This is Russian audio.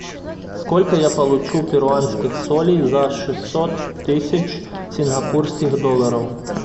сколько я получу перуанских солей за шестьсот тысяч сингапурских долларов